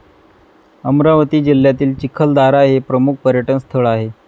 अमरावती जिल्ह्यातील चिखलदारा हे प्रमुख पर्यटनस्थळ आहे.